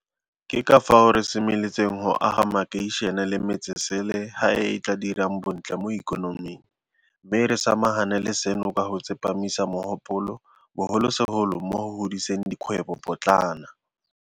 Ke ka fao re semeletseng go aga makeišene le metsesele ga e e e tla dirang bontle mo ikonoming, mme re sama gane le seno ka go tsepamisa mogopolo bogolosegolo mo go godiseng dikgwebo potlana.